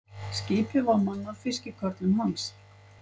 Skipið var mannað fiskikörlum hans.